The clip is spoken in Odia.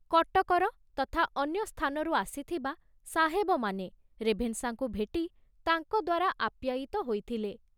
କଟକର ତଥା ଅନ୍ୟ ସ୍ଥାନରୁ ଆସିଥିବା ସାହେବମାନେ ରେଭେନଶାଙ୍କୁ ଭେଟି ତାଙ୍କ ଦ୍ବାରା ଆପ୍ୟାୟିତ ହୋଇଥିଲେ।